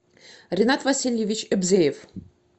ринат васильевич эбзеев